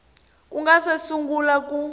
ku nga si sungula ku